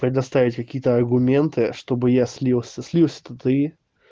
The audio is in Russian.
предоставить какие-то аргументы чтобы я слился слился то ты